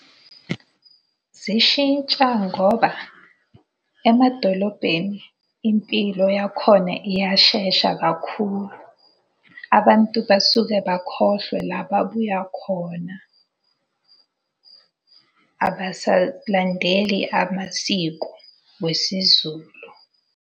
Zishintsha ngoba, emadolobheni impilo yakhona iyashesha kakhulu. Abantu basuke bakhohlwe la babuya khona. Abasalandeleli amasiko wesiZulu.